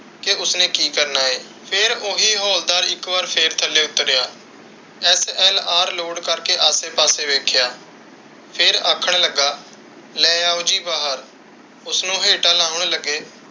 ਕਿ ਉਸਨੇ ਕਿ ਕਰਨਾ ਹੈ? ਫਿਰ ਇਕ ਵਾਰੀ ਉਹ ਹੀ ਹੌਲਦਾਰ ਇੱਕ ਵਾਰ ਫਿਰ ਥੱਲੇ ਉਤਰਿਆ SLR ਲੋਡ ਕਰ ਕੇ, ਆਸੇ ਪਾਸੇ ਵੇਖਿਆ, ਫਿਰ ਆਖਣ ਲੱਗਿਆ ਕਿ ਉਸਨੂੰ ਹੇਠਾਂ ਲਾਉਣ ਲੱਗੇ।